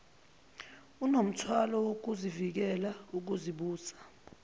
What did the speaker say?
unomthwalo wokuvikela ukuzibusa